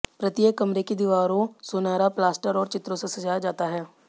प्रत्येक कमरे की दीवारों सुनहरा प्लास्टर और चित्रों से सजाया जाता है